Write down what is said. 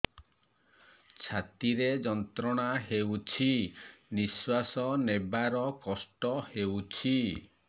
ଛାତି ରେ ଯନ୍ତ୍ରଣା ହେଉଛି ନିଶ୍ଵାସ ନେବାର କଷ୍ଟ ହେଉଛି